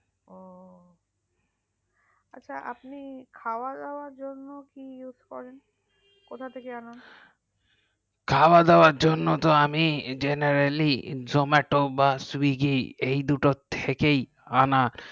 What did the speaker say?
আচ্ছা আপনি খাওয়া দাওয়া জন্য কি use করেন কোথা থেকে আনান । খাওয়া দাওয়া জন্য আমি generally Zomato বা swiggy এই দুই থেকে আনি